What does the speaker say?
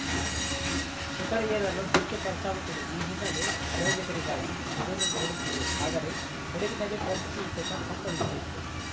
ಶಿಖರ ಏರಲು ಹೆಚ್ಚು ಖರ್ಚಾಗುತ್ತದೆ ಈ ಹಿನ್ನೆಲೆ ಪ್ರಯೋಜಕರಿಗಾಗಿ ಎದುರು ನೋಡುತ್ತಿದ್ದೆ ಆದರೆ ಕೊಡಗಿನಲ್ಲಿ ಪ್ರಕೃತಿ ವಿಕೋಪ ಸಂಭವಿಸಿತ್ತು